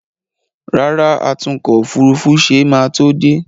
Rárá, atúnkò òfurufú ṣe máa tó dé